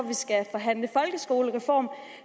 vi skal forhandle folkeskolereform